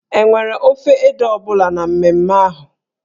E nwere ofe ede ọ bụla na mmemme ahụ?